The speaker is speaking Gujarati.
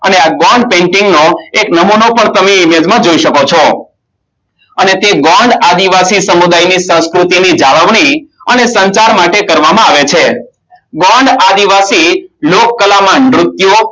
અને Gone painting નો એક નમૂનો પણ તમે Image માં જોય શકો છો અને તે ગોંડ આદિવાસી સમુદાયની સંસ્કૃતિ જાણવણી અને સત્તા ગોંડ આદિવાસી લોકકલામાં નૃત્યો